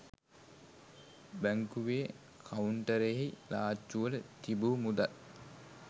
බැංකුවේ කවුන්ටරයෙහි ලාච්චුවල තිබූ මුදල්